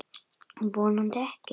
Vonandi ekki.